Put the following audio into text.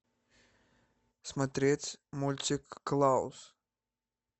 смотреть мультик клаус